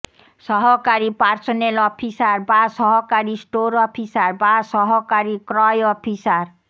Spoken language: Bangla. সহকারী পার্সোনেল অফিসার বা সহকারী স্টোর অফিসার বা সহকারী ক্রয় অফিসার